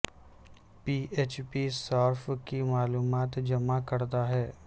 پی H P صارف کی معلومات جمع کرتا ہے